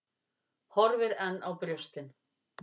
Horfir enn á brjóstin.